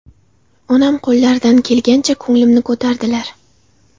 Onam qo‘llaridan kelgancha ko‘nglimni ko‘tardilar.